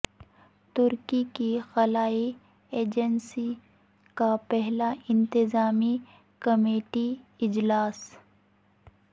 ترکی کی خلائی ایجنسی کا پہلا انتظامی کمیٹی اجلاس